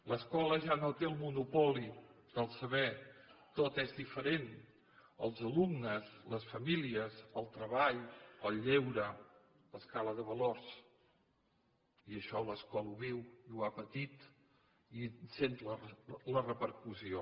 l’escola ja no té el monopoli del saber tot és diferent els alumnes les famílies el treball el lleure l’escala de valors i això l’escola ho viu i ho ha patit i en sent la repercussió